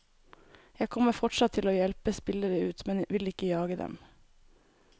Jeg kommer fortsatt til å hjelpe spillere ut, men vil ikke jage dem.